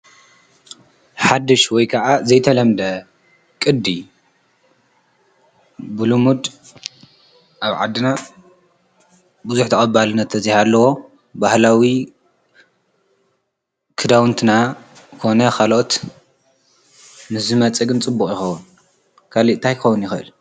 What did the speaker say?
ሓዱሽ ወይ ከዓ ዘይተለምደ ቅዲ ብልሙድ ኣብ ዓድና ብዙሕ ተቐባልነት ተዘይሃለዎ ባህላዊ ክዳዉንትና ኮነ ካልኦት ንዝመፅእ ግን ፅቡቅ ይከዉን። ካሊእ ታይ ክከዉን ይክእል?